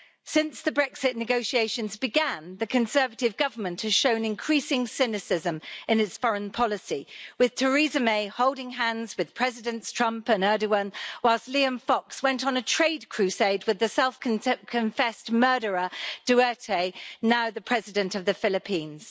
Since the Brexit negotiations began, the Conservative Government has shown increasing cynicism in its foreign policy, with Theresa May holding hands with Presidents Trump and Erdoğan, while Liam Fox went on a trade crusade with the self confessed murderer Duterte, now the President of the Philippines.